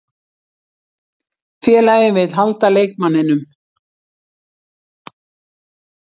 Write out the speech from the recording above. Félagið vill halda leikmanninum.